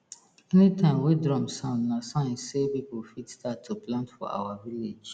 anytime wey drum sound na sign sey people fit start to plant for our village